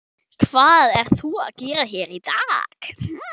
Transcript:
Hvað ert þú að gera hér í dag?